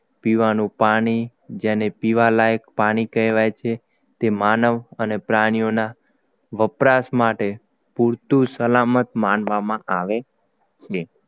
પીવાનું પાણી જેને પીવા લાયક પાણી કહેવાય છે તે માનવ અને પ્રાણીઓના વપરાશ માટે પૂરતું સલામત માનવામાં આવે છે